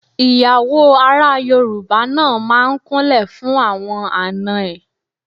Ìyàwó ará Yorùbá náà máa ń kúnlẹ̀ fún àwọn àna ẹ̀.